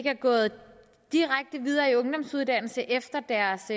er gået direkte videre i en ungdomsuddannelse efter deres